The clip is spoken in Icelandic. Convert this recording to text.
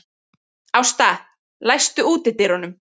Ásta, læstu útidyrunum.